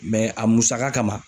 Mɛ a musaka kama